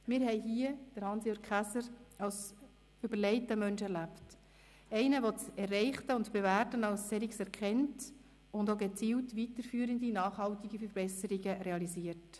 Wir haben Hans-Jürg Käser hier als überlegten Menschen erlebt, als einen, der das Erreichte und Bewährte als solches erkennt und auch gezielt weiterführende nachhaltige Verbesserungen realisiert.